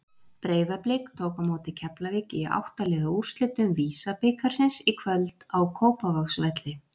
Breiðablik tók á móti Keflavík í átta liða úrslitum VISA-bikarsins í kvöld á Kópavogsvelli.